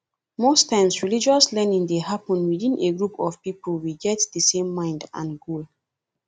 most times religious learning dey happen within a group of pipo we get di same mind and goal